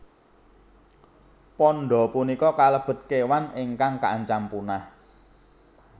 Panda punika kalebet kéwan ingkang kaancam punah